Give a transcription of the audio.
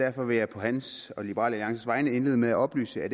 derfor vil jeg på hans og liberal alliances vegne indlede med at oplyse at